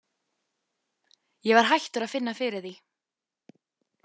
Ég var hættur að finna fyrir því.